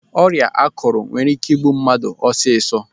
Ọrịa ákụ̀rụ̀ nwere ike igbu mmadụ ọsịsọ.